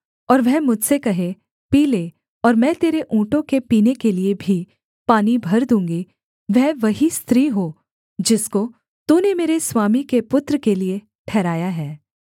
और वह मुझसे कहे पी ले और मैं तेरे ऊँटों के पीने के लिये भी पानी भर दूँगी वह वही स्त्री हो जिसको तूने मेरे स्वामी के पुत्र के लिये ठहराया है